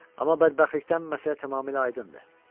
Amma bədbəxtlikdən məsələ tamamilə aydındır.